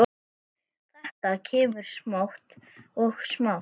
Þetta kemur smátt og smátt.